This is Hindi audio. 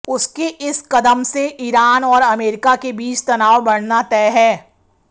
उसके इस कदम से ईरान और अमेरिका के बीच तनाव बढ़ना तय है